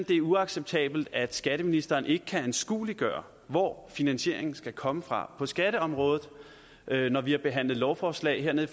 det er uacceptabelt at skatteministeren ikke kan anskueliggøre hvor finansieringen skal komme fra på skatteområdet når vi har behandlet lovforslag hernede